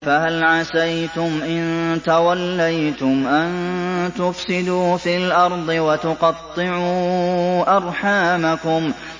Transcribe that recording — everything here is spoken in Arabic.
فَهَلْ عَسَيْتُمْ إِن تَوَلَّيْتُمْ أَن تُفْسِدُوا فِي الْأَرْضِ وَتُقَطِّعُوا أَرْحَامَكُمْ